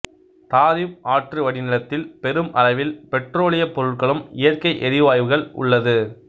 Tarim ஆற்று வடிநிலத்தில் பெரும் அளவில் பெட்ரோலியப் பொருட்களும் இயற்கை எரிவாயுகள் உள்ளது